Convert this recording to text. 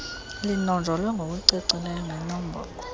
linonjolwe ngokucacileyo ngenombolo